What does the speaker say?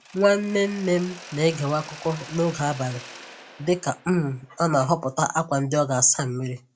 Nwanne nne m na-egewe akụkọ n'oge abalị dịka um ọ na-ahọpụta akwa ndị ọ ga-asa mmiri